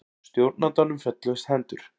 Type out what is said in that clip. Stjórnandanum féllust hendur.